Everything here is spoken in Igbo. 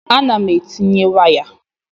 A na m etinye waya